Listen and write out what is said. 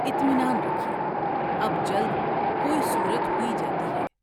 اطمینان رکھیے اب جلد کوئی صورت ہوئی جاتی ہے ۔